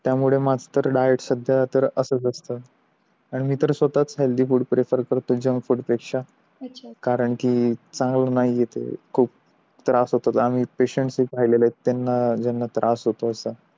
त्यामुळे माझं तर डाएट सध्या तर असच असतो आणि मी तर स्वतःच हेल्थी फूड प्रेफर करतो जंक फूड पेक्षा अच्छा कारण चांगलं नाही ते खूप त्रास हतो आम्ही पेशन्ट पाहिलेले आहेत त्याना ज्यांना तर होतो असं